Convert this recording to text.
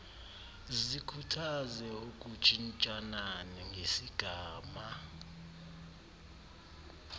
zikhuthaze ukutshintshana ngesigama